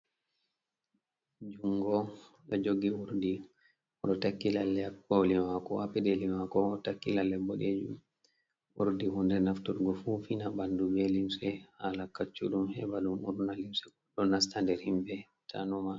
Jungo ɗo jogi urdi oɗo takki lalle ha koli mako ha peɗeli mako takki lalle boɗejum , urdi hunde nafturgo fufina ɓandu be limse halakacuɗum, heɓa ɗum urna limse ko to ɗo nasta nder himɓe tanuma.